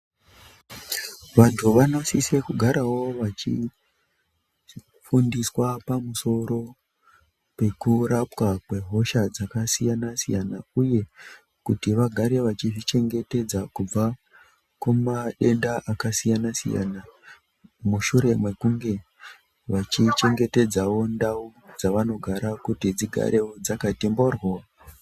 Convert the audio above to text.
Vantu vanosise kugarawo vachi fundiswa pamusoro pekurapwa kwehosha dzakasiyana-siyana ,uye kuti vagare vachizvi chengetedza kubva kumadenda akasiyana-siyana, mushure mekunge vachi chengetedzawo ndau dzavanogara, kuti dzigarewo dzakati mboryo.